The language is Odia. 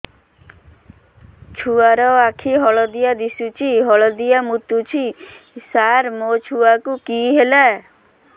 ଛୁଆ ର ଆଖି ହଳଦିଆ ଦିଶୁଛି ହଳଦିଆ ମୁତୁଛି ସାର ମୋ ଛୁଆକୁ କି ହେଲା